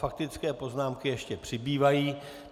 Faktické poznámky ještě přibývají.